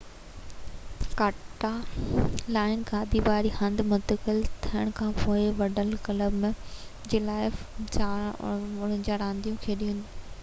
ڪاٽالان-گادي واري هنڌ منتقل ٿيڻ کانپوءِ وڊل ڪلب جي لاءِ 49 رانديون کيڏيون